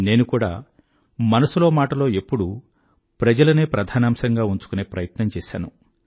నేను కూడా మనసులో మాటలో ఎప్పుడూ ప్రజలనే ప్రధానాంశంగా ఉంచుకునే ప్రయత్నం చేసాను